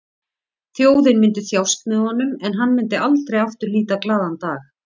Þjóðin myndi þjást með honum en hann myndi aldrei aftur líta glaðan dag.